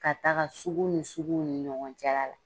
Ka taga sugu ni suguw ni ɲɔgɔn cɛla la.